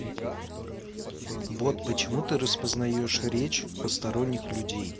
бот почему ты распознаешь речь посторонних людей